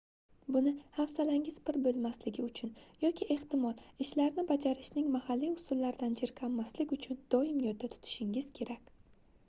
buni hafsalangiz pir boʻlmasligi uchun yoki ehtimol ishlarni bajarishning mahalliy usullaridan jirkanmaslik uchun doim yodda tutishingiz kerak